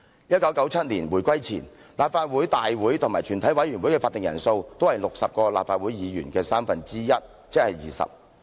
1997年回歸前，立法會大會及全體委員會的法定人數，都是60位立法會議員的三分之一，即是20人。